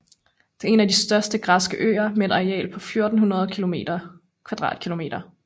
Det er en af de større græske øer med et areal på 1400 km²